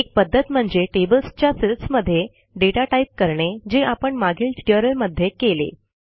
एक पध्दत म्हणजे टेबल्सच्या सेल्समध्ये दाता टाईप करणे जे आपण मागील ट्युटोरियलमध्ये केले